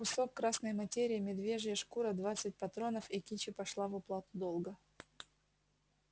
кусок красной материи медвежья шкура двадцать патронов и кичи пошли в уплату долга